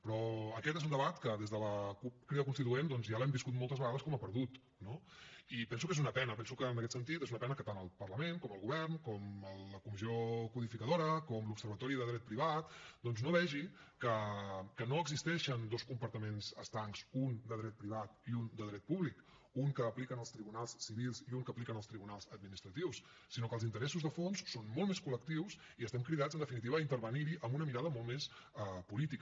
però aquest és un debat que des de la cup crida constituent doncs ja l’hem viscut moltes vegades com a perdut no i penso que és una pena penso que en aquest sentit és una pena que tant el parlament com el govern com la comissió codificadora com l’observatori de dret privat doncs no vegi que no existeixen dos compartiments estancs un de dret privat i un de dret públic un que apliquen els tribunals civils i un que apliquen els tribunals administratius sinó que els interessos de fons són molt més col·lectius i estem cridats en definitiva a intervenir hi amb una mirada molt més política